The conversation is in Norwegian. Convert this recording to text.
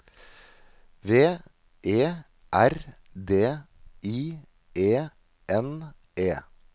V E R D I E N E